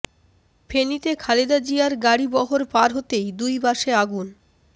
ফেনীতে খালেদা জিয়ার গাড়িবহর পার হতেই দুই বাসে আগুন